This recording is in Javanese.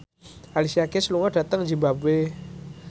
Alicia Keys lunga dhateng zimbabwe